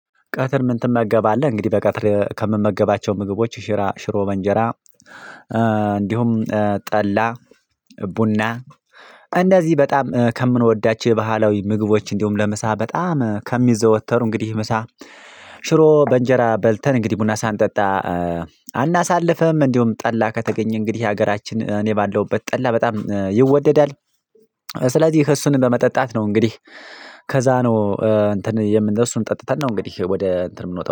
ቀትር ምን ትመገባለህ እንግዲህ በቀትር ከምመገባቸው ምግቦች ሽሮ በእንጀራ። እንዲሁም ጠላ ቡና እንደዚህ በጣም ከምንወዳቸው ባህላዊ ምግቦች እንዲሁም ለምሳ በጣም ከሚዘወተሩ እንግዲህ ምሳ። ሽሮ በእንጀራ በልተን እንግዲህ ቡና ሳንጠጣ አናሳልፍም እንደውም ጠላ ከተገኘ እንግዲህ ሀገራችን እኔ ባለውበት ጠላ በጣም ይወደዳል። ስለዚህ ከእሱን በመጠጣት ነው እንግዲህ። ከዛ ነው እንትን የምን እሱን ጠጥተን ነው እንግዲህ ወደ እንትን የምንወጣው